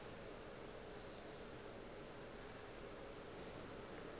yeo e bego e le